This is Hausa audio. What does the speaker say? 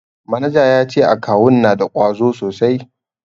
Manajan ya ce akawun na da ƙwazo sosai.